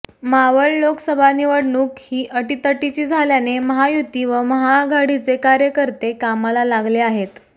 मावळ लोकसभा निवडणूक ही अटितटीची झाल्याने महायुती व महाआघाडीचे कार्यकर्ते कामाला लागले आहेत